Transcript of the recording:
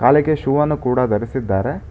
ಕಾಲೆಗೆ shoe ಅನ್ನು ಕೂಡ ಧರಿಸಿದ್ದಾರೆ.